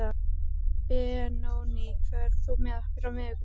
Benóný, ferð þú með okkur á miðvikudaginn?